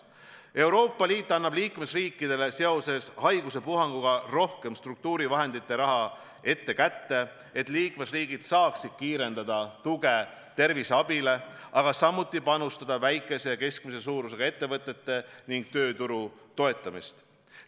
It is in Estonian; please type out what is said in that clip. Euroopa Liit annab liikmesriikidele seoses haiguspuhanguga rohkem struktuurivahendite raha ette kätte, et liikmesriigid saaksid kiirendada tuge terviseabile, aga samuti panustada väikese ja keskmise suurusega ettevõtete ning tööturu toetamisse.